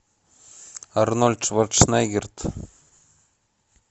арнольд шварценеггер